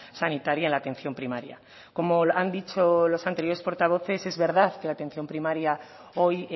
sanitaria en la atención primaria como han dicho los anteriores portavoces es verdad que la atención primaria hoy